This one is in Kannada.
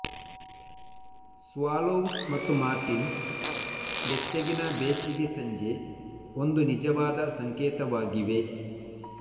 ಸ್ವಾಲೋವ್ಸ್ ಮತ್ತು ಮಾರ್ಟಿನ್ಸ್ ಬೆಚ್ಚಗಿನ ಬೇಸಿಗೆ ಸಂಜೆ ಒಂದು ನಿಜವಾದ ಸಂಕೇತವಾಗಿವೆ